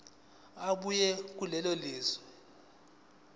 ebuya kulelo lizwe